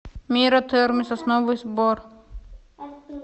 мира термы сосновый бор